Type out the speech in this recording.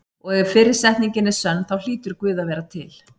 Og ef fyrri setningin er sönn þá hlýtur Guð að vera til.